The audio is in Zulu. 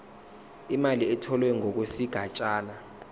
imali etholwe ngokwesigatshana